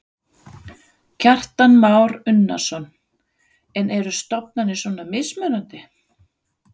Kristján Már Unnarsson: En eru stofnanir svona mismunandi?